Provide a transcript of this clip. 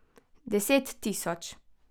Deset tisoč!